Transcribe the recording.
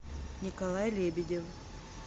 николай лебедев